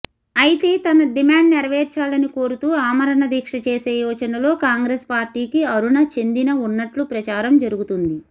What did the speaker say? అయితే తన డిమాండ్ నెరవేర్చాలని కోరుతూ అమరణదీక్ష చేసే యోచనలో కాంగ్రెస్ పార్టీకి అరుణ చెందిన ఉన్నట్లు ప్రచారం జరుగుతుంది